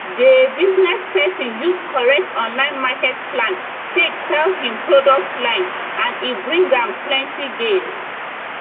dey business person use correct online market plan take sell him product line and e bring am plenty gain